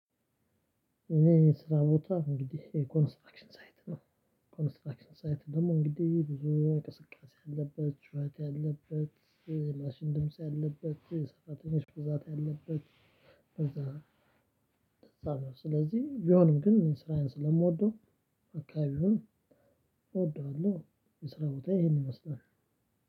እኔ ስራ ቦታ እንግዲህ ኮንስትራክሽን ሳይት ነው ኮንስትራክሽን ሳይት ደግሞ እንግዲህ ብዙ አይነት እንቅስቃሴ ያለበት ጩኸት ያለበት የማሽን ድምጽ ያለበት የሰራተኞች ብዛት ያለበት እንደዛ ነው። ስለዚህ ቢሆንም ግን ስራዬን ስለምወደው አካባቢውን እወደዋለሁ። የስራ ቦታ ይሄንን ይመስላል።